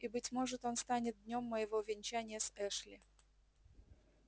и быть может он станет днём моего венчания с эшли